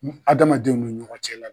N adamadenw ni ɲɔgɔn cɛla la